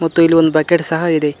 ಮತ್ತು ಇಲ್ಲಿ ಒಂದ್ ಬಕೆಟ್ ಸಹ ಇದೆ.